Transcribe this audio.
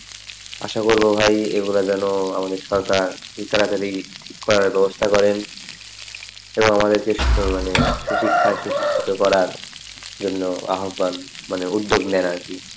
আশা করবো ভাই এইগুলা যেন আমাদের সরকার খুব তাড়াতাড়ি ঠিক করার ব্যবস্থা করেন এবং আমাদেরকে সুশিক্ষায় সুশিক্ষিত করার জন্য আহ্বান মানে উদ্যোগ নেয় আরকি,